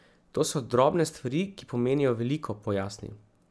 To so drobne stvari, ki pomenijo veliko, pojasni.